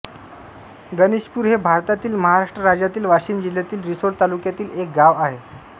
गणेशपूर हे भारतातील महाराष्ट्र राज्यातील वाशिम जिल्ह्यातील रिसोड तालुक्यातील एक गाव आहे